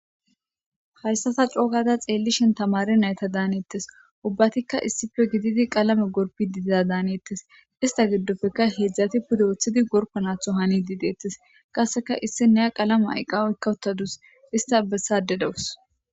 hayssata coogada xeellishentamare nayta daaneettes. ubbatikka issife gididi qalame gorpi didiza daanettes ista giddopfeka heedzdzati puda ooththidi gorppa naatho hani diideettes. qasseka issi nea qalama ayqqawoykkawuttadus ista bessade dawus.